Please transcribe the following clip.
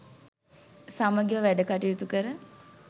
සමගිව වැඩ කටයුතු කර